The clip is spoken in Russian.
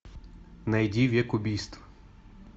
найди век убийств